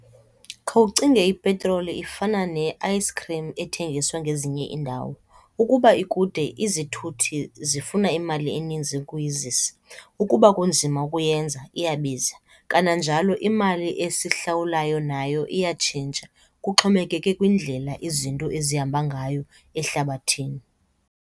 Khawucinge ipetroli ifana nee-ice cream ethengisa ngezinye iindawo. Ukuba ikude izithuthi zifuna imali eninzi ukuyizisa, ukuba kunzima ukuyenza iyabiza. Kananjalo imali esihlawulayo nayo iyatshintsha, kuxhomekeke kwindlela izinto ezihamba ngayo ehlabathini.